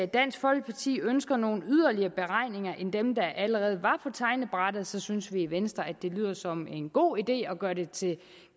dansk folkeparti ønsker nogle yderligere beregninger end dem der allerede var på tegnebrættet så synes vi i venstre at det lyder som en god idé at gøre det til